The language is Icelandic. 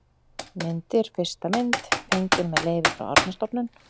Myndir: Fyrsta mynd: Fengin með leyfi frá Árnastofnun.